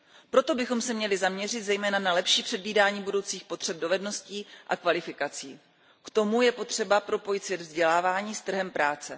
Proto bychom se měli zaměřit zejména na lepší předvídání budoucích potřeb dovedností a kvalifikací. K tomu je potřeba propojit svět vzdělávání s trhem práce.